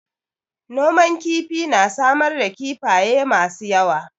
Noman kifi na samar da kifafye masu yawa.